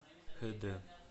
хэ дэ